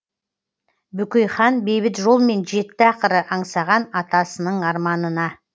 бөкей хан бейбіт жолмен жетті ақыры аңсаған атасының арманына